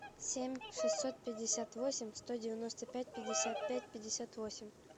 семь шестьсот пятьдесят восемь сто девяносто пять пятьдесят пять пятьдесят восемь